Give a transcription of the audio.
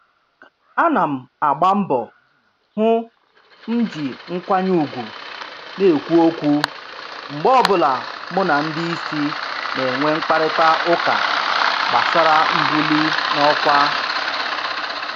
Ana m agba mbọ hụ m ji nkwanye ugwu na-ekwu okwu mgbe ọbụla mụ na ndị isi na-enwe mkparịta ụka gbasara mbuli n'ọkwa